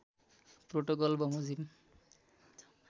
protocol वमाोजिम